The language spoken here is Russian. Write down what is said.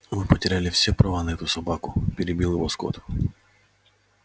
вы потеряли все права на эту собаку перебил его скотт